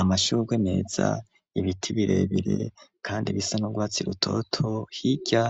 Amashurwe meza, ibiti birebire, kandi bisa n’urwatsi rutoto; hirya,